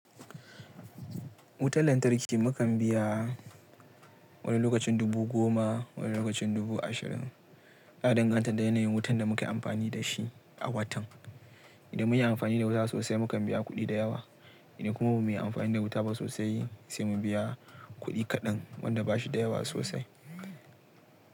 Wutan lantarki mukan biya wani lokacin dubu goma, wani lokacin dubu ashirin. Ya danganta da yanayin wutan da muka yi amfani da shi a watan. Idan mun yi amfani da wuta sosai, mukan biya kuɗi da yawa. Idan kuma ba mu yi amfani da wuta ba sosai, sai mu biya kuɗi kaɗan wanda ba shi da yawa sosai.